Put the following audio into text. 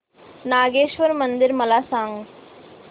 नागेश्वर मंदिर मला सांग